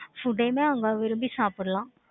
food யுமே அவங்க விரும்பி சாப்பிடலாம்.